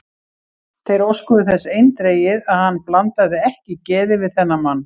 Þeir óskuðu þess eindregið, að hann blandaði ekki geði við þennan mann.